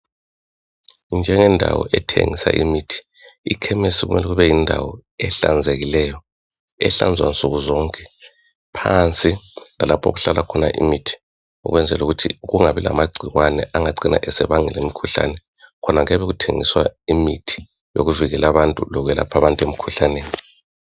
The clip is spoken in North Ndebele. Njengendawo ethengisa imithi ikhemisi kumele ibeyindawo ehlanzekileyo ehlanzwa nsukuzonke phansi lalapho okuhlala khona imithi ukwenzela ukuthi kungabi lamagcikwane angacina esebangela imikhuhlane khona kuyabe kuthengiswa imithi yokwelapha lokuvikela abantu emkhuhlaneni